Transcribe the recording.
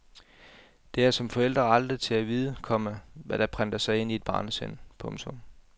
Det er som forældre aldrig til at vide, komma hvad der prenter sig i et barnesind. punktum